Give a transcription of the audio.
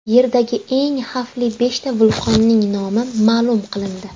Yerdagi eng xavfli beshta vulqonning nomi ma’lum qilindi.